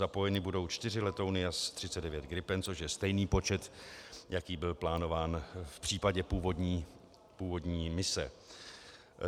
Zapojeny budou 4 letouny Jas-39 Gripen, což je stejný počet, jaký byl plánován v případě původní mise.